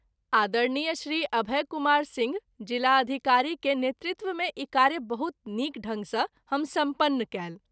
आदरणीय श्री अभय कुमार सिंह, ज़िलाधिकारी के नेतृत्व मे ई कार्य बहुत नीक ढंग सँ हम सम्पन्न कएल।